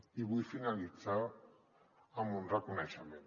i vull finalitzar amb un reconeixement